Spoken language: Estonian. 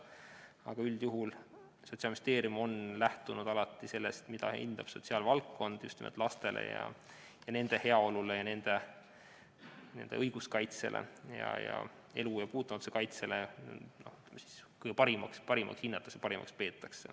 Aga üldjuhul on Sotsiaalministeerium lähtunud alati sellest, mida hindab sotsiaalvaldkond just nimelt lastele, nende heaolule, nende õiguskaitse ja elu puutumatuse kaitse seisukohast parimaks.